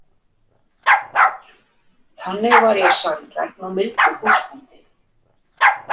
Þannig var ég sanngjarn og mildur húsbóndi.